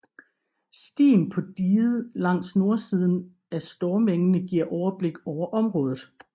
Stien på diget langs nordsiden af Stormengene giver overblik over området